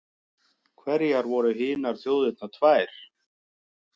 Hverjar voru hinar þjóðirnar tvær?